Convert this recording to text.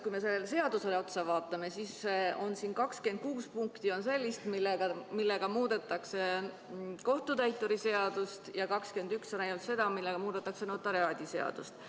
Kui me sellele seadusele otsa vaatame, siis siin on 26 sellist punkti, millega muudetakse kohtutäituri seadust, ja ainult 21 on sellised, millega muudetakse notariaadiseadust.